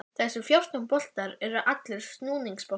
Þessir fjórtán borar eru allir snúningsborar.